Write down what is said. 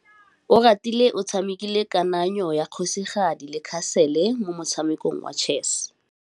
Oratile o tshamekile kananyô ya kgosigadi le khasêlê mo motshamekong wa chess.